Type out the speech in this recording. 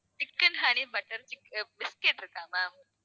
chicken honey butter biscuit இருக்கா ma'am